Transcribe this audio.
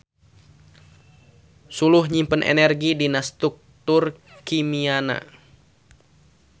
Suluh nyimpen energi dina struktur kimiana.